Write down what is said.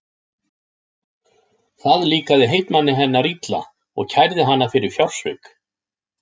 Það líkaði heitmanni hennar illa og kærði hana fyrir fjársvik.